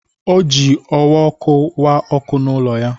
O ji owa ọkụ wa ọkụ n'ụlọ ya.